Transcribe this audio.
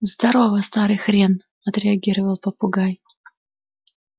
здорово старый хрен отреагировал попугай